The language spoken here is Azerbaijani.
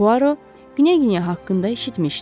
Puaro Knyaginya haqqında eşitmişdi.